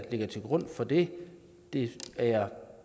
ligger til grund for det det er jeg